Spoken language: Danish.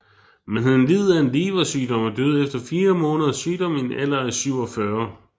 Men han led af en leversygdom og døde efter fire måneders sygdom i en alder af 47